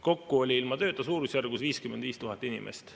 Kokku oli ilma tööta suurusjärgus 55 000 inimest.